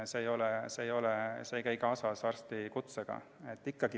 See ei käi arstikutsega kokku.